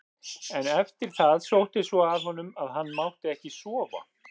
En eftir það sótti svo að honum að hann mátti ekki sofa.